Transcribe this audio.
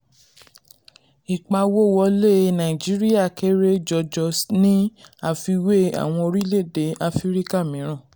ìpawówọlé nàìjíríà kéré jọjọ ní àfiwé àwọn orílẹ̀-èdè áfíríkà mìíràn.